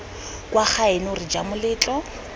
kwa gaeno re ja moletlo